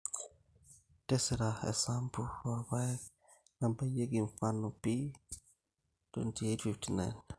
tisira esampu oorpaek nabayieki mfano p2859.